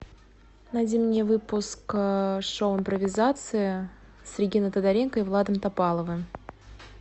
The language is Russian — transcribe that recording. найди мне выпуск шоу импровизация с региной тодоренко и владом топаловым